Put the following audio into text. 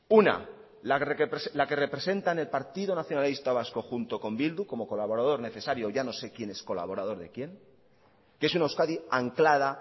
una la que representan el partido nacionalista vasco junto con bildu como colaborador necesario ya no sé quién es colaborador de quién que es una euskadi anclada